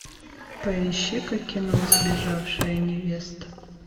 поищи ка кино сбежавшая невеста